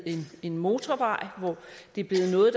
en motorvej det er blevet noget